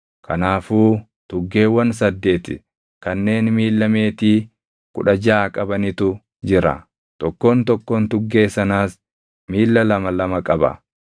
Kanaafuu tuggeewwan saddeeti kanneen miilla meetii kudha jaʼa qabanitu jira; tokkoon tokkoon tuggee sanaas miilla lama lama qaba.